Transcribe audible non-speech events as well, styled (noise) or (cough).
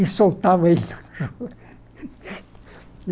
e soltava ele no chão. (laughs)